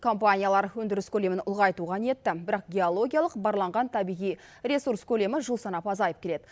компаниялар өндіріс көлемін ұлғайтуға ниетті бірақ геологиялық барланған табиғи ресурс көлемі жыл санап азайып келеді